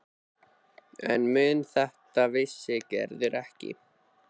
En um þetta vissi Gerður ekkert.